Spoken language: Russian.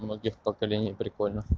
многих поколений прикольно